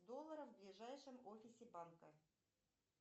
доллара в ближайшем офисе банка